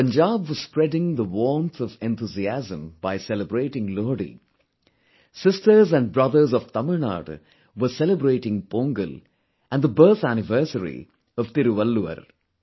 When Punjab was spreading the warmth of enthusiasm by celebrating Lohri, sisters and borthers of Tamil Nadu were celebrating Pongal and birth anniversary of Thiruvalluvar